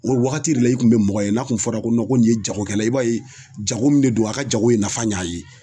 O wagati de la i kun be mɔgɔ ye n'a kun fɔra ko nɔn ko nin ye jagokɛla ye i b'a ye jago min de do a ka jago ye nafa ɲ' a ye